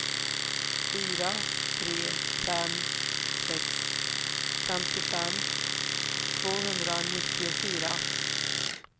fyra tre fem sex femtiofem tvåhundranittiofyra